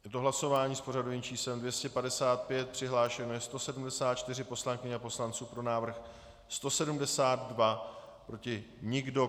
Je to hlasování s pořadovým číslem 255, přihlášeno je 174 poslankyň a poslanců, pro návrh 172, proti nikdo.